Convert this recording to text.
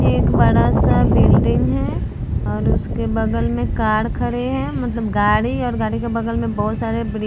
एक बड़ा-सा बिल्डिंग है और उसके बगल में कार खड़ी है मतलब गाड़ी और गाड़ी के बगल में बहुत सारी--